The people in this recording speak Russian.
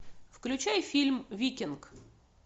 включай фильм викинг